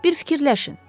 Bir fikirləşin.